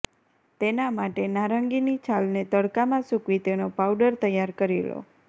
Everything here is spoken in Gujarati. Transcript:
તેના માટે નારંગીની છાલને તડકામાં સૂકવી તેનો પાઉડર તૈયાર કરી લો